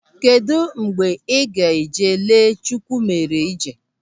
Kedụ mgbe ị ga-eje lee Chukwumerije?